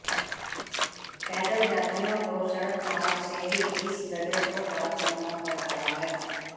पैदल यात्रियों को सड़क मार्ग से ही इस दर्रे को पार करना पड़ रहा है